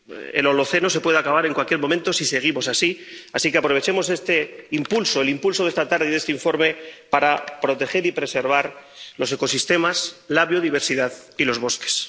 El Holoceno se puede acabar en cualquier momento si seguimos así, así que aprovechemos este impulso, el impulso de esta tarde y de este informe para proteger y preservar los ecosistemas, la biodiversidad y los bosques.